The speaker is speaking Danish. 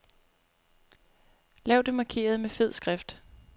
Lav det markerede med fed skrift.